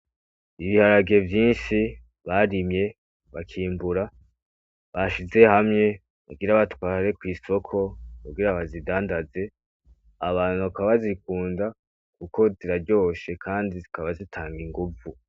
Ibiharage vyinshi barimye, bakimbura, bashize hamwe, kugira batware kw'isoko, kugira bazidandaze, abantu bakaba bazikunda, kuko ziraryoshe kandi zikaba zitanga inguvu.